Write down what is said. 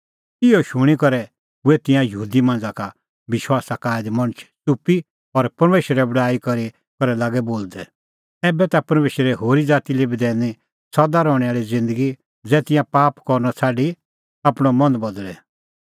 इहअ शूणीं करै हुऐ तिंयां यहूदी मांझ़ा का विश्वासा का आऐ ऐ मणछ च़ुप्पी और परमेशरे बड़ाई करी करै लागै बोलदै ऐबै ता परमेशरै होरी ज़ाती लै बी दैनी सदा रहणैं आल़ी ज़िन्दगी ज़ै तिंयां पाप करनअ छ़ाडी आपणअ मन बदल़े